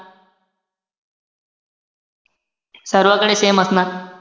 सर्वंकडे same असणार.